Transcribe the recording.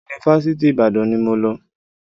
Yunifásitì Ìbàdàn ni mo lọ